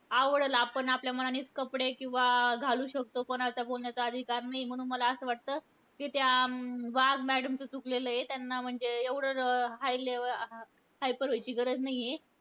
आवडलं आपण आपल्या मनानेचं कपडे किंवा घालू शकतो. कोणाचा बोलण्याचा अधिकार नाहीये. म्हणून मला असं वाटतं, कि त्या अं वाघ madam चं चुकलेलं आहे. त्यांना म्हणजे एवढं high level hyper व्हायची गरज नाहीये.